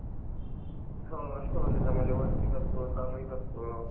वार्षिक असतो सामाईक असतो.